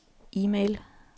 e-mail